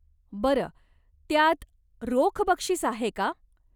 बरं, त्यात रोख बक्षीस आहे का?